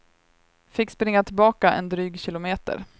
Fick springa tillbaka en dryg kilometer.